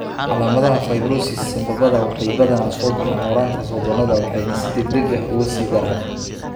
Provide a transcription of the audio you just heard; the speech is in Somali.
Calaamadaha fibrosis sambabada waxay badanaa soo baxaan horraanta sodonnada waxayna si degdeg ah uga sii daraan.